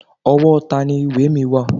Ọwọ́ tani ìwé mi wà?